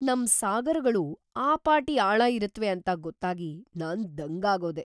ನಮ್ ಸಾಗರಗಳು ಆ ಪಾಟಿ ಆಳ ಇರತ್ವೆ ಅಂತ ಗೊತ್ತಾಗಿ ನಾನ್‌ ದಂಗಾಗೋದೆ!